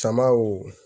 Samaw